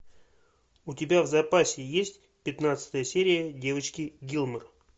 у тебя в запасе есть пятнадцатая серия девочки гилмор